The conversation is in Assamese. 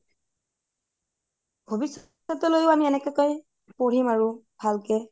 ভৱিষ্যতলৈয়ো আমি এনেকোৱাকে পঢ়িম ভালকে